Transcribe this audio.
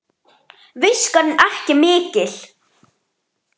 Viskan ekki mikil!